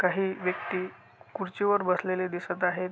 काही व्यक्ति खुर्चीवर बसलेले दिसत आहेत.